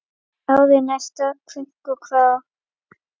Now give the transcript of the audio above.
Árið næsta, krunk og krá!